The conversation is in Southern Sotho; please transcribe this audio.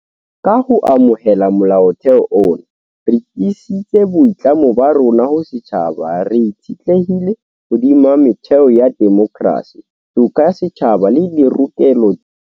Ka ho amohela Molaotheo ona, re tiisitse boitlamo ba rona ho setjhaba re itshetlehileng hodima metheo ya demokrasi, toka ya setjhaba le dirokelo tsa